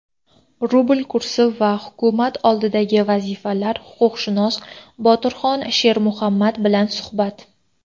rubl kursi va hukumat oldidagi vazifalar — huquqshunos Botirjon Shermuhammad bilan suhbat.